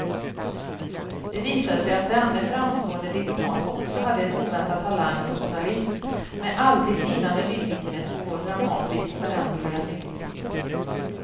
Det visade sig att denne framstående diplomat också hade en oväntad talang som journalist med aldrig sinande nyfikenhet på vår dramatiskt föränderliga nutid.